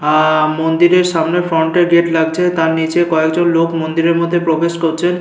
আহ মন্দিরের সামনে ফ্রন্টের গেট লাগছে তার নিচে কয়েকজন লোক মন্দিরের মধ্যে প্রবেশ করছে।